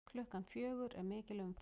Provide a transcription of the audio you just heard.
Klukkan fjögur er mikil umferð.